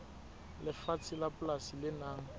lefatshe la polasi le nang